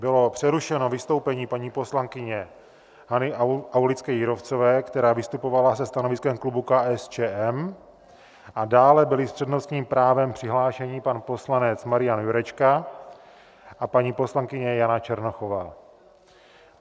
Bylo přerušeno vystoupení paní poslankyně Hany Aulické Jírovcové, která vystupovala se stanoviskem klubu KSČM, a dále byli s přednostním právem přihlášeni pan poslanec Marian Jurečka a paní poslankyně Jana Černochová.